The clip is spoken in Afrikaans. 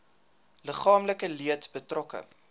liggaamlike leed betrokke